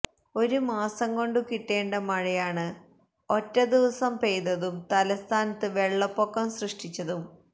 ഒരു മാസം കൊണ്ടു കിട്ടേണ്ട മഴയാണ് ഒറ്റ ദിവസം പെയ്തതും തലസ്ഥാനത്തു വെള്ളപ്പൊക്കം സൃഷ്ടിച്ചതും